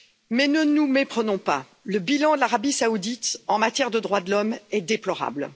Mais ne nous méprenons pas, le bilan de l'Arabie saoudite en matière de droits de l'homme est déplorable.